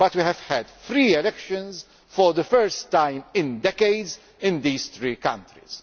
But we have had free elections for the first time in decades in these three countries.